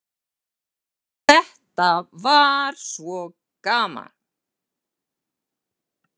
Þetta var svo gaman.